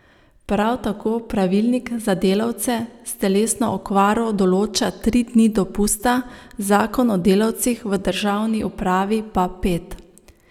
Prav tako pravilnik za delavce s telesno okvaro določa tri dni dopusta, zakon o delavcih v državni upravi pa pet.